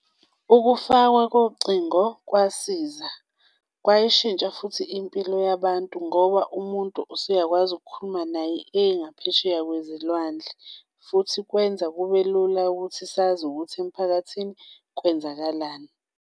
Ukufakwa kocingo kwasiza, kwayishintsha futhi impilo yabantu, ngoba umuntu usuyakwazi ukukhuluma naye engaphesheya kwezilwandle, futhi kwenza kube lula ukuthi sazi ukuthi emphakathini kwenzakalani.